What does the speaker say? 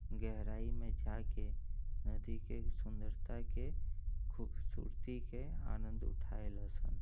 गहराई में जाके नदी के सुंदरता के खूबसूरती के आनंद उठाएल सन।